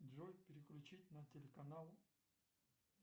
джой переключить на телеканал